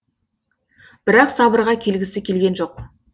бірақ сабырға келгісі келген жоқ